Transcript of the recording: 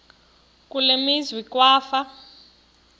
kule meazwe kwafa